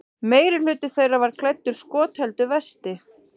Meirihluti þeirra var klæddur skotheldu vesti